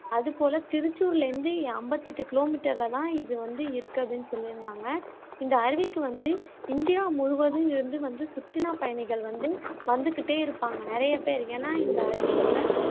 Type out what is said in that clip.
அது போல திருச்சூர்ல இருந்து அம்பத்தி எட்டு கிலோமீட்டர்ல தான் இது வந்து இருக்கு அப்படின்னு சொல்லியிருந்தாங்க இந்த அருவிக்கு வந்து இந்தியா முமுவதும் இருந்து வந்து சுற்றுலாப் பயணிகள் வந்து வந்துக்கிட்டே இருப்பாங்க நிறைய பேர் ஏன்னா இந்த அருவியோட